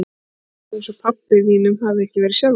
Það er ekki eins og pabba þínum hafi ekki verið sjálfrátt.